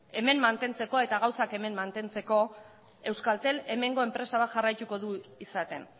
hemen mantentzekoa eta gauzak hemen mantentzeko euskaltel hemengo enpresa bat jarraituko du izaten